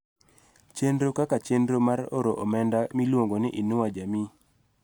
Chenro kaka chenro mar oro omenda miluongo ni "Inua Jamii